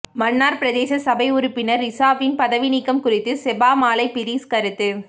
மன்னார் பிரதேச சபை உறுப்பினர் ரிசாபியின் பதவி நீக்கம் குறித்து செபமாலை பீரிஸ் கருத்து